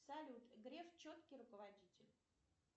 салют греф четкий руководитель